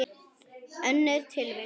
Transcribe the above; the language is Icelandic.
Önnur tilvik.